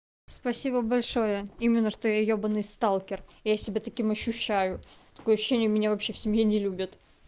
спасибо большое именно что я ебанный сталкер я себя таким ощущаю такое ощущение меня вообще в семье не любят